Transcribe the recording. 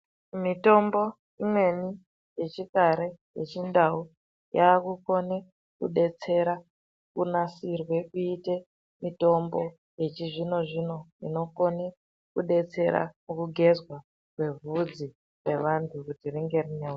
Mitombo imweni yechikare yechindau yakukone kudetsera kunasirwe kuti iite mitombo yechizvino zvino inokone kudetsera kugenzwa kwevhudzi revantu vhudzi rinenge rine.